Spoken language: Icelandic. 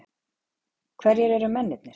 Hverjir eru mennirnir?